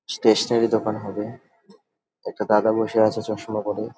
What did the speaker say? Stationery দোকান হবে একটা দাদা বসে আছে চশমা পরে।